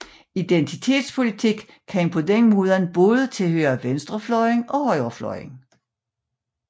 Identitetspolitik kan således både tilhøre venstrefløjen og højrefløjen